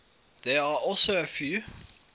there are also a few